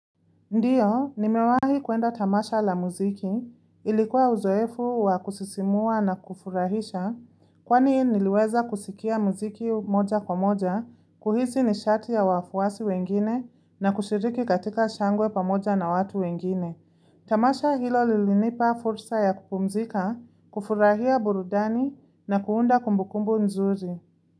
Ndiyo, nimewahi kuenda tamasha la muziki, ilikuwa uzoefu wa kusisimua na kufurahisha, kwani niliweza kusikia muziki moja kwa moja, kuhisi ni shati ya wafuwasi wengine, na kushiriki katika shangwe pamoja na watu wengine. Tamasha hilo lilinipa fursa ya kupumzika, kufurahia burudani, na kuunda kumbukumbu nzuri.